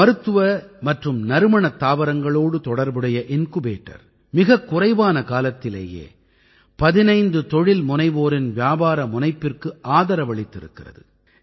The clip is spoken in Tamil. மருத்துவ மற்றும் நறுமணத் தாவரங்களோடு தொடர்புடைய இன்குபேட்டர் மிகக்குறைவான காலத்திலேயே 15 தொழில்முனைவோரின் வியாபார முனைப்பிற்கு ஆதரவளித்திருக்கிறது